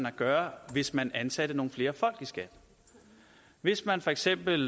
at gøre hvis man ansatte nogle flere folk i skat hvis man for eksempel